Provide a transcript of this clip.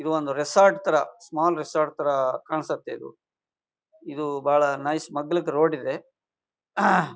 ಇದು ಒಂದು ರೆಸಾರ್ಟ್ ತರ ಸ್ಮಾಲ್ ರೆಸಾರ್ಟ್ ಕಾಣಿಸತ್ತೆ ಇದು. ಇದು ಬಹಳ ನೈಸ್ ಮಗ್ಗಲಿಗೆ ರೋಡ್ ಇದೆ .]